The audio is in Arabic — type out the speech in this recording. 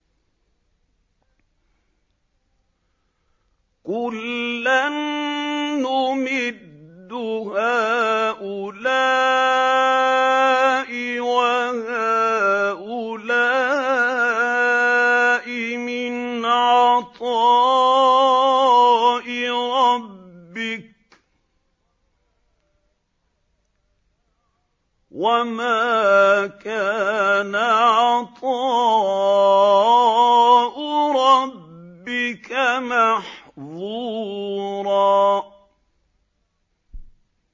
كُلًّا نُّمِدُّ هَٰؤُلَاءِ وَهَٰؤُلَاءِ مِنْ عَطَاءِ رَبِّكَ ۚ وَمَا كَانَ عَطَاءُ رَبِّكَ مَحْظُورًا